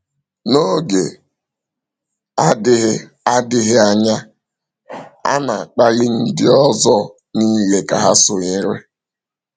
N’oge adịghị adịghị anya, a na-akpali ndị ọzọ niile ka ha sonyere.